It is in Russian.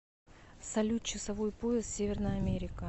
салют часовой пояс северная америка